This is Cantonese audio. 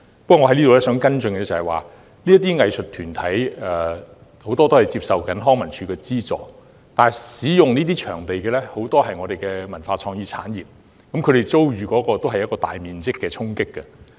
不過，我提出的跟進質詢是，不少藝術團體正在接受康文署的資助，但這些場地的使用者，也有不少來自我們的文化創意產業，我們同樣遭受大規模的衝擊。